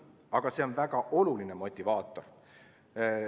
Aga see on väga oluline motivaator.